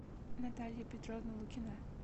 наталья петровна лукина